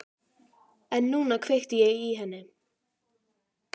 En núna kveikti ég í henni.